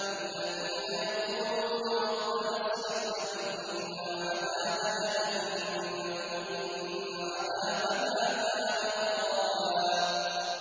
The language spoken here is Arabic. وَالَّذِينَ يَقُولُونَ رَبَّنَا اصْرِفْ عَنَّا عَذَابَ جَهَنَّمَ ۖ إِنَّ عَذَابَهَا كَانَ غَرَامًا